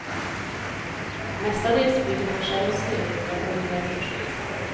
Mestadels bygger han själv snömurar och riggar vindskydd.